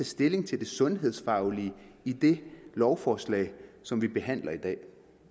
stilling til det sundhedsfaglige i det lovforslag som vi behandler i dag